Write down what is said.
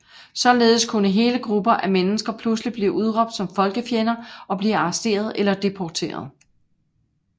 Således kunne hele grupper af mennesker pludselig blive udråbt som folkefjender og blive arresteret eller deporteret